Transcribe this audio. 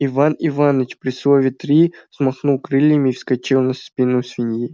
иван иваныч при слове три взмахнул крыльями и вскочил на спину свиньи